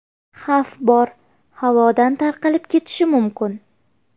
Xavf bor, havodan tarqalib ketishi mumkin.